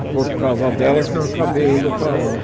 E foi por causa dela que eu acabei indo para lá.